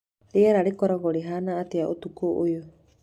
rĩera rĩgakorũo rĩhaana atĩa ũtukũ ũyũ